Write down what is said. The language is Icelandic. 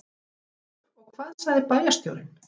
Hafþór: Og hvað sagði bæjarstjórinn?